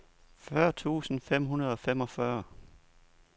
fyrre tusind fem hundrede og femogfyrre